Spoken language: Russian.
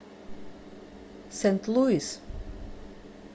сент луис